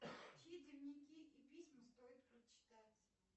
чьи дневники и письма стоит прочитать